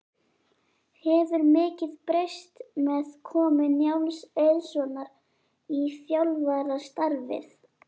Hefur mikið breyst með komu Njáls Eiðssonar í þjálfarastarfið?